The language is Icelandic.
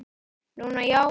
Núna, já.